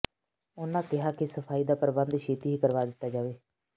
ਉਨ੍ਹਾਂ ਕਿਹਾ ਕਿ ਸਫਾਈ ਦਾ ਪ੍ਰਬੰਧ ਛੇਤੀ ਹੀ ਕਰਵਾ ਦਿੱਤਾ ਜਾਵੇਗਾ